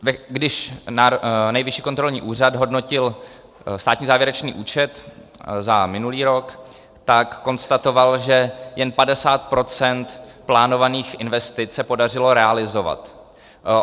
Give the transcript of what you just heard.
Když Nejvyšší kontrolní úřad hodnotil státní závěrečný účet za minulý rok, tak konstatoval, že jen 50 % plánovaných investic se podařilo realizovat.